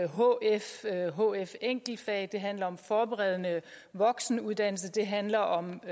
hf hf enkeltfag det handler om forberedende voksenuddannelse det handler om